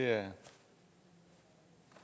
er